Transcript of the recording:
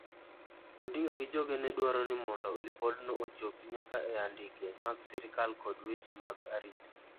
Odinga gi joge ne dwaroni mondo lipod no ochopi nyaka e andike mag sirkal kod weche mag arita.